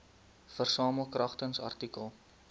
versamel kragtens artikel